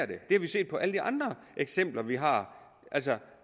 det har vi set med alle de andre eksempler vi har altså